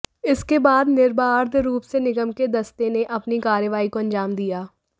इसके बाद निर्बाध रूप से निगम के दस्ते ने अपनी कार्रवाई को अंजाम दिया